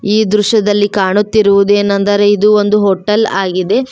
ಈ ದೃಶ್ಯದಲ್ಲಿ ಕಾಣುತ್ತಿರುವುದೇನೆಂದರೆ ಇದು ಒಂದು ಹೋಟೆಲ್ ಆಗಿದೆ.